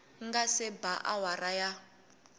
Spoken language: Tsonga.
nga se ba awara ya